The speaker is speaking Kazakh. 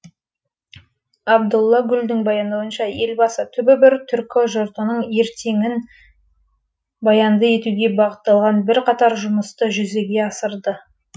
абдулла гүлдің баяндауынша елбасы түбі бір түркі жұртының ертеңін баянды етуге бағытталған бірқатар жұмысты жүзеге асырды